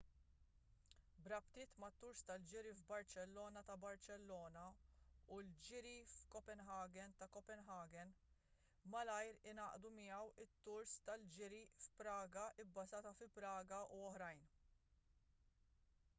b'rabtiet mat-tours tal-ġiri f'barċellona ta' barċellona u l-ġiri f'copenhagen ta' copenhagen malajr ingħaqdu miegħu t-tours tal-ġiri f'praga bbażat fi praga u oħrajn